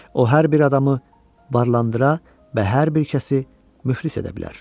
O hər bir adamı varlandıra və hər bir kəsi müflis edə bilər.